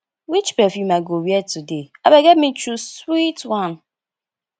which perfume i go wear today abeg help me choose sweet one